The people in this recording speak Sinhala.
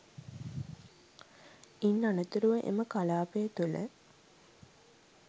ඉන් අනතුරුව එම කළාපය තුළ